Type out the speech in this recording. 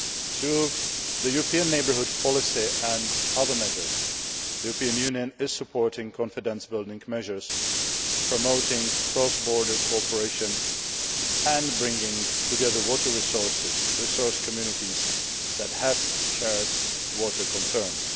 Through the European Neighbourhood Policy and other measures, the European Union is supporting confidence building measures, promoting cross border cooperation and bringing together water resource communities that have shared water concerns.